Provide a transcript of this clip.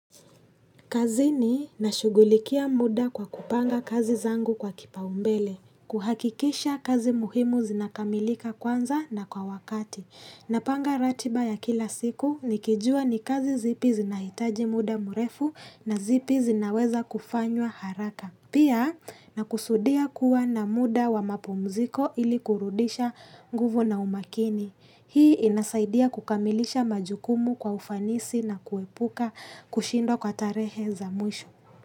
Kazi ni nashugulikia muda kwa kupanga kazi zangu kwa kipaumbele, kuhakikisha kazi muhimu zinakamilika kwanza na kwa wakati. Napanga ratiba ya kila siku nikijua ni kazi zipi zinahitaji muda murefu na zipi zinaweza kufanywa haraka. Pia na kusudia kuwa na muda wa mapumziko ili kurudisha nguvu na umakini. Hii inasaidia kukamilisha majukumu kwa ufanisi na kuepuka kushindwa kwa tarehe za mwisho.